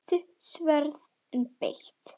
Stutt sverð, en beitt.